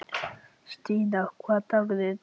Stína, hvaða dagur er í dag?